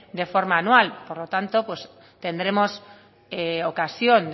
de forma anual por lo tanto pues tendremos ocasión